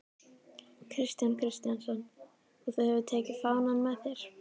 Kristján Kristjánsson: Og þú hefur tekið fánann með þér?